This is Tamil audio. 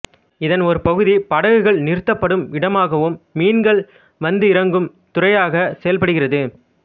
இதன் ஒரு பகுதி படகுகள் நிறுத்தப்படுமிடமாகவும் மீன்கள் வந்திறங்கும் துரையாக செயல்படுகிறது